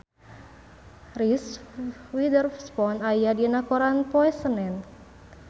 Reese Witherspoon aya dina koran poe Senen